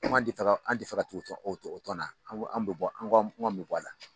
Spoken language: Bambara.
Ko an ti fɛ ka an ti fɛ ka tɔn o tɔn o tɔn na an ko an be bɔ an be bɔ a la